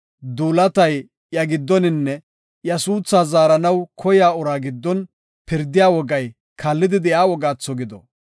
duulatay iya giddoninne iya suutha zaaranaw koya uraa giddon pirdiya wogay kaallidi de7iya wogaatho gido.